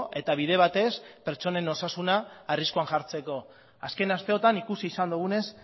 eta bide batez pertsonen osasuna arriskuan jartzeko azken asteotan ikusi izan dugunez